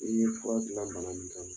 I ye fura gilan bana min kama